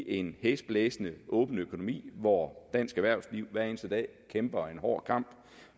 en hæsblæsende åben økonomi hvor dansk erhvervsliv hver eneste dag kæmper en hård kamp